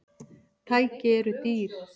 Tæki eru dýr.